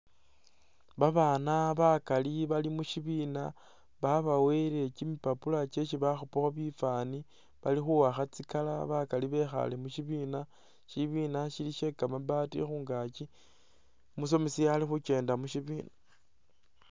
Babaana bakaali bali mushibiina babawele kyimipapula kyesi bakhupaakho bifaani bali khuwaakha tsi color bakaali bekhaale mushibiina shibiina shili she'kamabaati khungaakyi umusomesa ali khukyenda mushibiina.